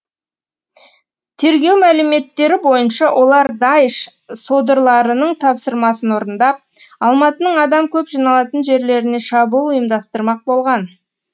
тергеу мәліметтері бойынша олар даиш содырларының тапсырмасын орындап алматының адам көп жиналатын жерлеріне шабуыл ұйымдастырмақ болған